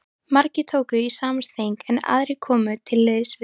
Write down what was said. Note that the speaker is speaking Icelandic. Margir tóku í sama streng, en aðrir komu til liðs við